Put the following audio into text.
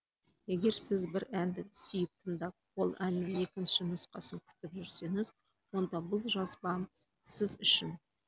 егер сіз бір әнді сүйіп тыңдап ол әннің екінші нұсқасын күтіп жүрсеңіз онда бұл жазбам сіз үшін